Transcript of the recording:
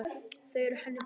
Þau eru henni þung.